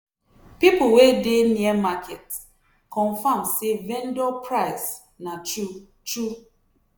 people wey dey near market confirm say vendor price na true true.